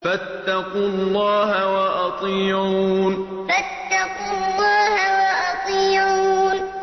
فَاتَّقُوا اللَّهَ وَأَطِيعُونِ فَاتَّقُوا اللَّهَ وَأَطِيعُونِ